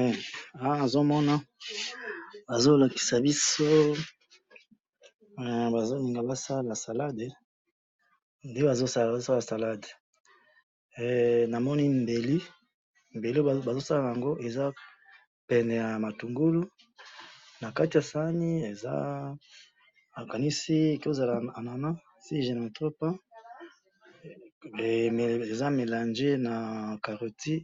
Eh! Awa nazomona bazolakisa biso, eh! Bazolinga basala salad, nde bazosala salad, eh! Namoni mbeli, mbeli oyo bazosala naango eza pene yamatungulu, nakati yasaani ezaa, nakanisi ekoki kozala anana si je ne me trompe pas, eh! Mais eza melange na carote